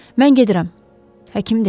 “Mən gedirəm”, həkim dedi.